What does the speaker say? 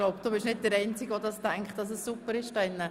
Ich glaube, dass auch andere die Meinung von Grossrat Haas teilen.